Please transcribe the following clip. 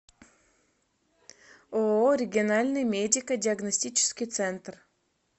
ооо региональный медико диагностический центр